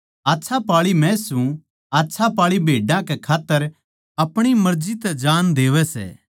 आच्छा पाळी मै सूं आच्छा पाळी भेड्डां कै खात्तर अपणी मर्जी तै जान देवै सै